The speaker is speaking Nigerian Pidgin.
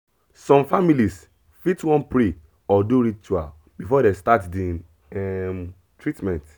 some families fit wan pray or do ritual before dem start the um treatment